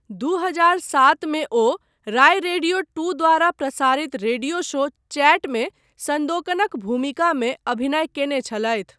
दू हजार सात मे ओ राय रेडियो२ द्वारा प्रसारित रेडियो शो 'चैट' मे सन्दोकनक भूमिकामे अभिनय कयने छलथि।